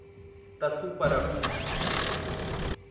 तसू परब